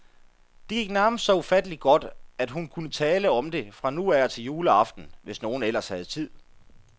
Det gik nærmest så ufattelig godt, at hun kunne tale om det fra nu af og til juleaften, hvis nogen ellers havde tid.